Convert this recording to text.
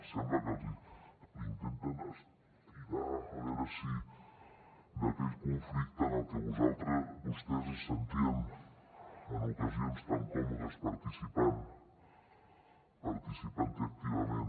sembla que la intenten estirar a veure si d’aquell conflicte en el que vostès se sentien en ocasions tan còmodes participant hi activament